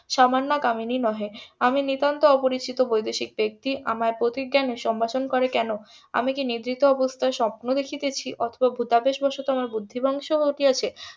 সামান্য কামিনী নহে আমি নিতান্ত অপরিচিত বৈদেশিক ব্যাক্তি আমায় পতি জ্ঞানে সম্ভাষণ করে কেন আমি কি নিভৃত অবস্থায় স্বপ্ন দেখিতেছি অথবা আমার ভুতাদেশ বসত আমার বুদ্ধি ধ্বংস ঘটিয়াছে